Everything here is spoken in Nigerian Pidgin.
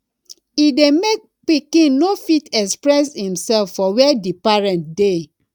e de make pikin no fit experess imself for where di parents de